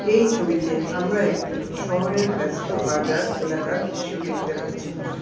এই ছবিতে আমরা একটি শহরের ব্যস্ত বাজার এলাকার দৃশ্য দেখতে পাচ্ছি।